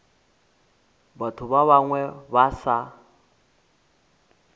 batho ba bangwe ba sa